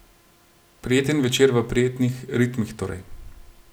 Prijeten večer v prijetnih ritmih torej.